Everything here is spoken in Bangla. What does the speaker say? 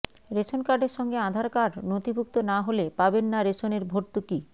রেশন কার্ডের সাথে আধার কার্ড নথিভুক্ত না হলে পাবেননা রেশনের ভর্তুকি